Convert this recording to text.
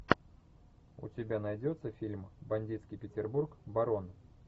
у тебя найдется фильм бандитский петербург барон